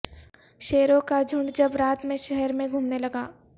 شیروں کا جھونڈ جب رات میں شہر میں گھومنے لگا